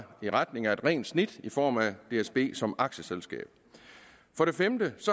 i retning af et rent snit i form af dsb som aktieselskab for det femte